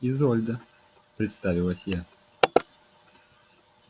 изольда представилась я